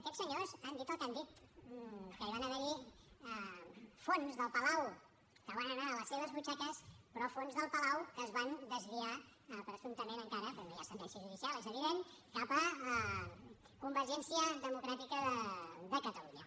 aquests senyors han dit el que han dit que van haver hi fons del palau que van anar a les seves butxaques però fons del palau que es van desviar presumptament encara perquè no hi ha sentència judicial és evident cap a convergència democràtica de catalunya